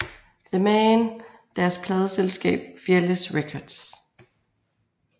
The Man deres pladeselskab Fearless Records